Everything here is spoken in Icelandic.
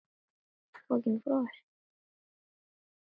En hún kom ekki.